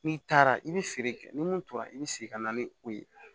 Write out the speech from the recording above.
N'i taara i bɛ feere kɛ ni mun tora i bɛ segin ka na ni o ye